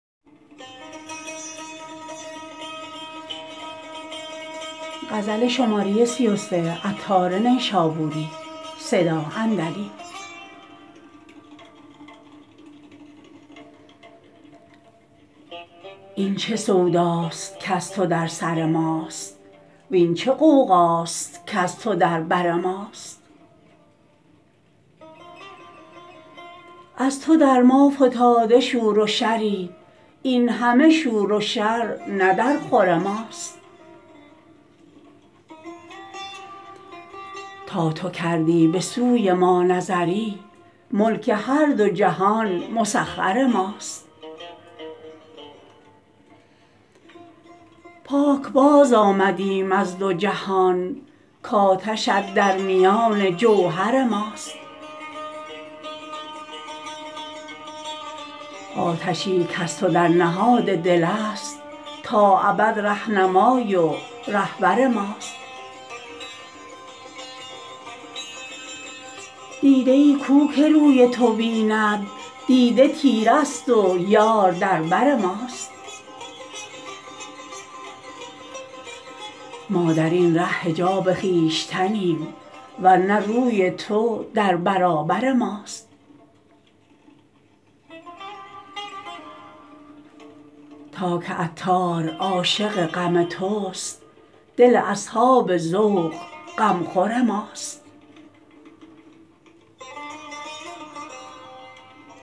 این چه سوداست کز تو در سر ماست وین چه غوغاست کز تو در بر ماست از تو در ما فتاده شور و شری این همه شور و شر نه در خور ماست تا تو کردی به سوی ما نظری ملک هر دو جهان مسخر ماست پاکباز آمده ایم از دو جهان کاتش ات در میان جوهر ماست آتشی کز تو در نهاد دل است تا ابد رهنمای و رهبر ماست دیده ای کو که روی تو بیند دیده تیره است و یار در بر ماست ما درین ره حجاب خویشتنیم ورنه روی تو در برابر ماست تا که عطار عاشق غم توست دل اصحاب ذوق غمخور ماست